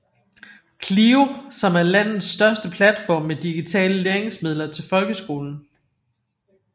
CLIO som er landets største platform med digitale læringsmidler til folkeskolen